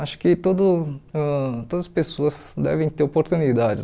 Acho que todo ãh todas as pessoas devem ter oportunidades.